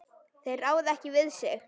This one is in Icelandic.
Þeir ráða ekki við sig.